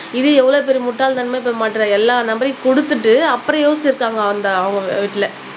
இது எவ்ளோ பெரிய முட்டாள் தனமா இப்ப மாட்டுறான் எல்லார் நம்பரையும் குடுத்துட்டு அப்புறம் யோசிச்சுருக்காங்க அந்த அவங்க வீட்டுல